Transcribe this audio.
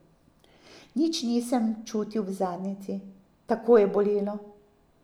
Nič nisem čutil v zadnjici, tako je bolelo.